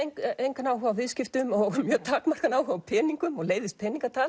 engan áhuga á viðskiptum og mjög takmarkaðan áhuga á peningum og leiðist